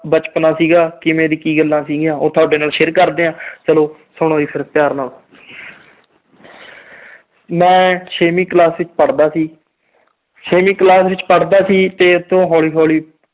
ਬਚਪਨਾ ਸੀਗਾ ਕਿਵੇਂ ਦੀ ਕੀ ਗੱਲਾਂ ਸੀਗੀਆਂ, ਉਹ ਤੁਹਾਡੇ ਨਾਲ share ਕਰਦੇ ਹਾਂ ਚਲੋ ਸੁਣੋ ਜੀ ਫਿਰ ਪਿਆਰ ਨਾਲ ਮੈਂ ਛੇਵੀਂ class ਵਿੱਚ ਪੜ੍ਹਦਾ ਸੀ ਛੇਵੀਂ class ਵਿੱਚ ਪੜ੍ਹਦਾ ਸੀ ਤੇ ਇੱਥੋਂ ਹੌਲੀ ਹੌਲੀ